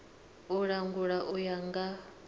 u langula u ya nga